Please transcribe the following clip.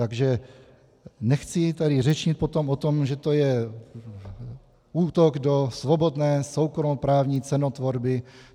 Takže nechci tady řečnit potom o tom, že to je útok do svobodné soukromoprávní cenotvorby.